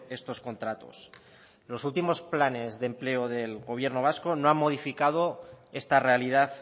estos contratos los últimos planes de empleo del gobierno vasco no han modificado esta realidad